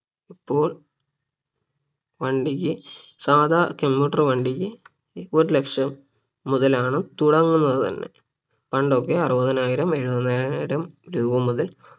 ഇപ്പോൾ വണ്ടിക്ക് സാധാ commuter വണ്ടിക്ക് ഒരു ലക്ഷം മുതലാണ് തുടങ്ങുന്നത് തന്നെ പണ്ടൊക്കെ അറുപതിനായിരം എഴുപതിനായിരം രൂപ മുതൽ